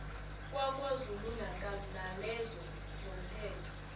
kwakwazulunatal nalezo zomthetho